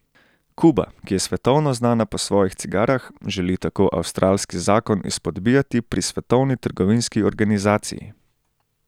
Kuba, ki je svetovno znana po svojih cigarah, želi tako avstralski zakon izpodbijati pri Svetovni trgovinski organizaciji.